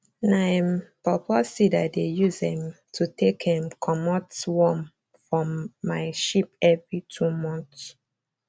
na um paw paw seed i dey use um to take um comot worm form my sheep every two months